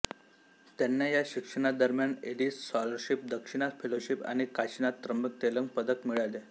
त्यांना या शिक्षणादरम्यान एलिस स्कॉलरशिप दक्षिणा फेलोशिप आणि काशिनाथ त्र्यंबक तेलंग पदक मिळाले